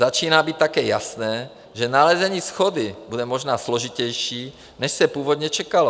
Začíná být také jasné, že nalezení shody bude možná složitější, než se původně čekalo.